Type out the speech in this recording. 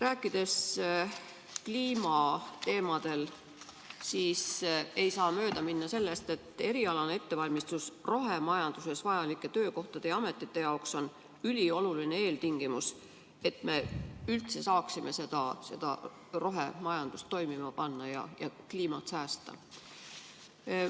Rääkides kliimateemadel, siis ei saa mööda minna sellest, et erialane ettevalmistus rohemajanduses vajalike töökohtade ja ametite jaoks on ülioluline eeltingimus, et me üldse saaksime rohemajanduse toimima panna ja kliimat säästa.